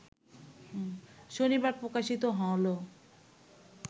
শনিবার প্রকাশিত হল